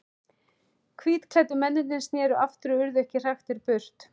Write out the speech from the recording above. Hvítklæddu mennirnir sneru aftur og urðu ekki hraktir burt.